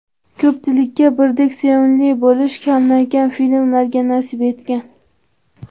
Ko‘pchilikka birdek sevimli bo‘lish kamdan kam filmlarga nasib etgan.